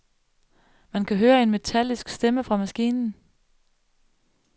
Man kan høre en metallisk stemme fra maskinen.